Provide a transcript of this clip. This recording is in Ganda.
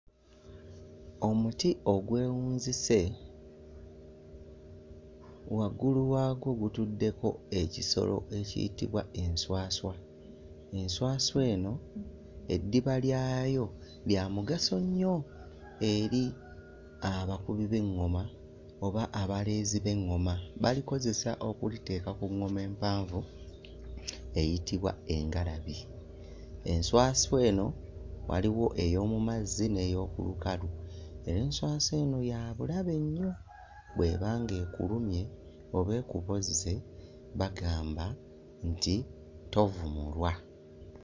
Omuti ogwewunzise waggulu waagwo gutuddeko ekisolo ekiyitibwa enswaswa, enswaswa eno eddiba lyayo lya mugaso nnyo eri abakubi b'eŋŋoma oba abaleezi b'eŋŋoma, balikozesa okuliteeka ku ŋŋoma empanvu eyitibwa engalabi. Enswaswa eno waliwo ey'omu mazzi n'ey'oku lukalu era enswaswa eno yabulabe nnyo bw'eba ng'ekulumye oba ekubozze bagamba nti tovumulwa.